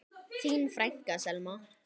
Þín frænka, Selma.